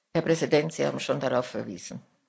Herr Präsident, Sie haben schon darauf verwiesen.